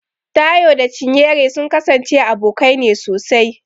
Taiwo da Chinyere sun kasance abokanai ne sosai.